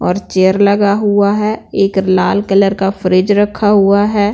और चेयर लगा हुआ है एक लाल कलर का फ्रिज रखा हुआ है।